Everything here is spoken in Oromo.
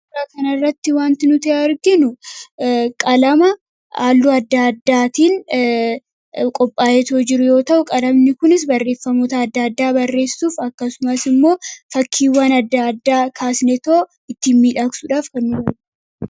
Suuraa kanarratti wanti nuti arginu qalama halluu adda addaatiin qophaa'eetoo jiru yoo ta’u, qalamni kunis barreeffamoota adda addaa barreessuuf akkasumas immoo fakkii adda addaa kaasneetoo ittiin miidhagsuudhaaf fayyadu.